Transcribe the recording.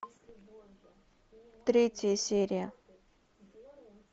третья серия